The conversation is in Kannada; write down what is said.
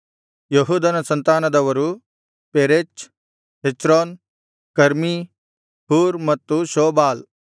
ಯೆಹೂದನ ಸಂತಾನದವರು ಪೆರೆಚ್ ಹೆಚ್ರೋನ್ ಕರ್ಮೀ ಹೂರ್ ಮತ್ತು ಶೋಬಾಲ್